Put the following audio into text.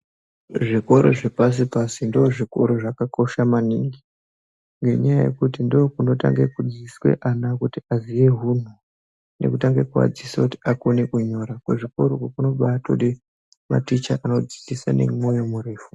Zvikora zvepasi pasi ndozvikora zvakakosha maningi ngenyaa yekuti ndikwo kunotange kudzidziswa ana hunhu nekutange kuadzidzisa kuti akone kunyora. Kuchikora uku kunobaatode maticha anodzidzisa nemoyo murefu.